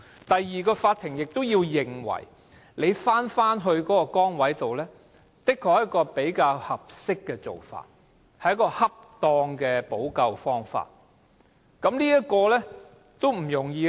第二關，法院必須認為僱員返回原來崗位，是較合適或恰當的補救方法，這是不容易的。